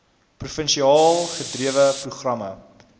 provinsiaal gedrewe programme